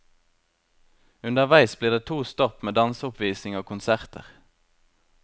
Underveis blir det to stopp med danseoppvisning og konserter.